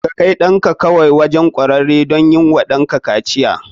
Ka kai ɗanka kawai wajen kwararre don yi wa danka kaciya.